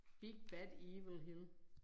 Big bad evil hill